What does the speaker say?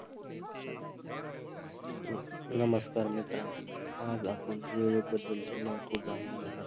अं नमस्कार मित्रांनो, आज आपण वेळेबद्दलचे महत्त्व जाणून घेणार